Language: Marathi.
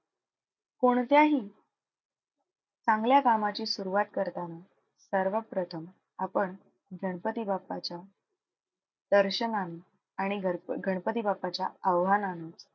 कोणत्याही चांगल्या कामाची सुरुवात करताना सर्वात प्रथम आपण गणपती बाप्पाच्या दर्शनाने आणि गर गणपती बाप्पाच्या आवाहनाने,